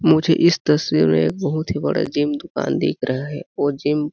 मुझे इस तस्वीर में एक बहुत ही बड़ा जिम दुकान दिख रहा है वो जिम --